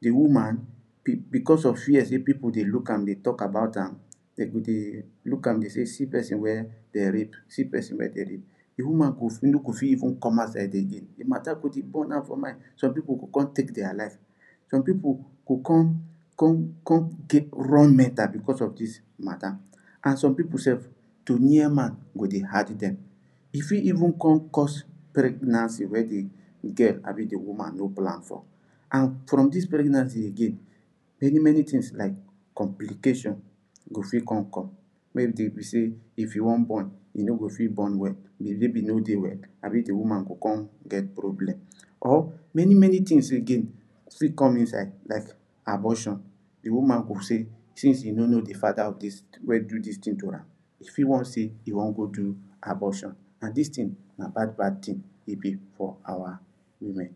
the woman be because of fear say people deh look am deh talk about am them deh look am deh see person weh dey rape see person weh them rep the woman go no go fit even come outside again the matter go deh burn am for mind some people go come take their life some people go come come come get run mental because of this matter and some people sef to near man go deh hard them e fit even come course pregnancy weh deh girl abi di woman no plan for and from this pregnancy again many many things like complication go fit come come maybe them be say if you want born you no go fit born well the baby no deh well abi the woman go come get problem or many many thing weh again fit come inside like abortion the wman go say since e no know the father of this weh do this thing to am e fit wan say e wan go do abortion and this thing nah bad bad thing e be for our women